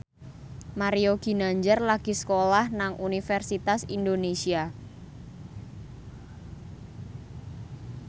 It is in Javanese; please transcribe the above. Mario Ginanjar lagi sekolah nang Universitas Indonesia